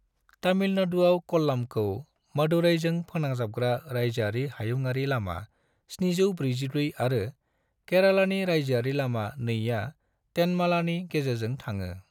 तमिलनाडुआव कल्लामखौ मदुरैजों फोनांजाबग्रा रायजोयारि हायुंयारि लामा-744 आरो केरालानि रायजोयारि लामा-2 आ तेनमालानि गेजेरजों थाङो।